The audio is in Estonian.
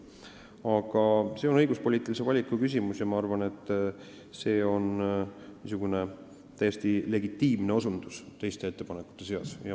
Aga see on õiguspoliitilise valiku küsimus ja ma arvan, et see on täiesti legitiimne ettepanek teiste ettepanekute seas.